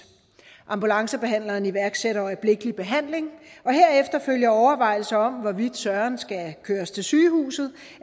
ambulancebehandleren iværksætter øjeblikkelig behandling og herefter følger overvejelser om hvorvidt søren skal køres til sygehuset